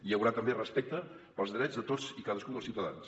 hi haurà també respecte pels drets de tots i cadascun dels ciutadans